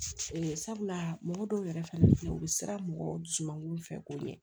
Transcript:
sabula mɔgɔ dɔw yɛrɛ fɛnɛ bɛ yen u bɛ siran mɔgɔw dusumango fɛ k'o ɲɛ